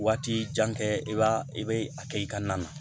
Waati jan kɛ i b'a i bɛ a kɛ i ka na na